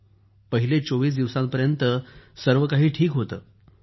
तर पहिले चोवीस दिवसांपर्यंत तर सर्व काही ठीक होतं